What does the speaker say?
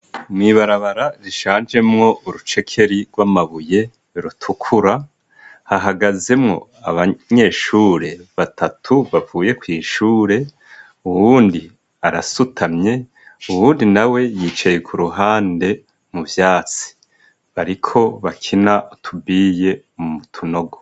Mw'ibarabara rishanjemwo urucekeri rw'amabuye rutukura, hahagazemwo abanyeshure batatu bavuye kw' ishure, Uwundi arasutamye uwundi nawe yicaye k'uruhande mu vyatsi, bariko bakina utubuye mu tunogo.